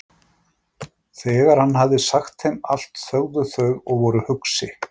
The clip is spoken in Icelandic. Þegar hann hafði sagt þeim allt þögðu þau og voru hugsi.